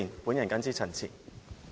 我謹此陳辭。